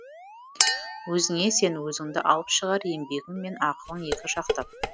өзіңе сен өзіңді алып шығар еңбегің мен ақылың екі жақтап